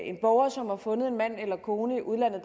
en borger som har fundet en mand eller kone i udlandet